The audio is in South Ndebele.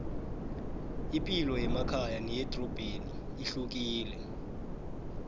ipilo yemakhaya neyemadorobheni ihlukile